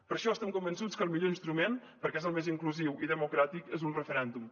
per això estem convençuts que el millor instrument perquè és el més inclusiu i democràtic és un referèndum